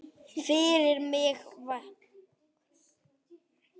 Firra mig vitinu.